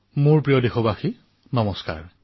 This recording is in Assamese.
মোৰ মৰমৰ দেশবাসীসকল নমস্কাৰ